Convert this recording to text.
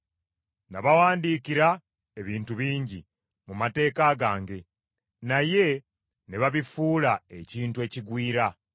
Nabawandiikira ebintu bingi mu mateeka gange, naye ne babifuula ekintu ekigwira.